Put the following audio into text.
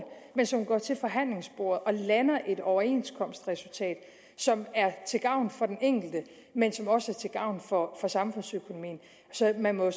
men som går til forhandlingsbordet og lander et overenskomstresultat som er til gavn for den enkelte men som også er til gavn for samfundsøkonomien så man må